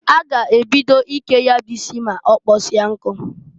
A g' ebido ike ya bụ isi m'ọkpọsia nkụ.